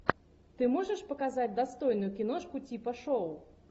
ты можешь показать достойную киношку типа шоу